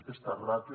aquesta ràtio